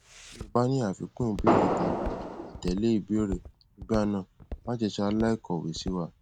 ti o ba ni afikun ibeere tabi atele ibeere nigbana mase salai kowe siwa